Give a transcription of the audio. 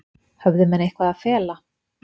Höfðu menn eitthvað að fela?